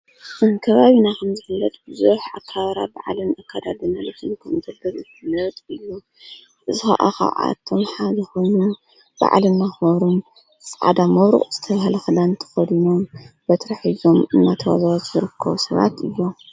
እንከባቢ ና ኸምዝፍለጥ ብዙኅ ኣከባብራ ብዓለም ኣካዳድናልቱን ከም ንዘበዘ ትነት ሎ ዝኣቓዓቶም ሓድኹኑ በዕለ እናመኾሩን ዕዳ ምሩ ዝተሃለኽዳን ተ ኸድኖም በትሪ ሒዞም እናተወዘትዘርክ ሰባት እሎ።